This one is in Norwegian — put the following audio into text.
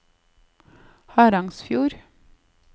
Harangsfjord